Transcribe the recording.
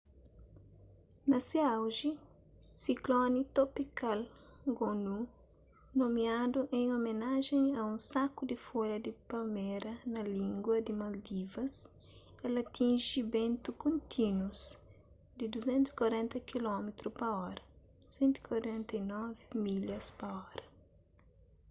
na se auji sikloni topikal gonu nomiadu en omenajen a un saku di folha di palmera na língua di maldivas el atinji bentu kontínus di 240 kilómitru pa óra 149 milhas pa óra